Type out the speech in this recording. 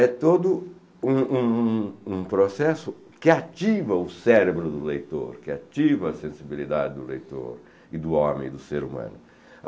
É todo um um um processo que ativa o cérebro do leitor, que ativa a sensibilidade do leitor e do homem, do ser humano.